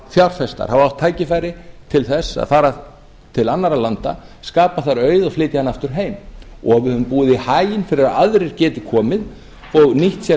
fjárfestar hafa átt tækifæri til að fara til annarra landa skapa þar auð og flytja hann aftur heim og við höfum búið í haginn til að aðrir geti komið og nýtt sér